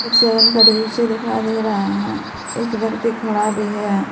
एक सैलून का दृश्य दिखाई दे रहा है एक व्यक्ति खड़ा भी है।